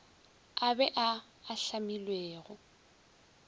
a be a a hlamilwego